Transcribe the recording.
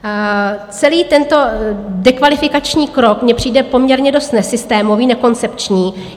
Celý tento dekvalifikační krok mi přijde poměrně dost nesystémový, nekoncepční.